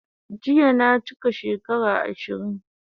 Jiya na chika shekara 20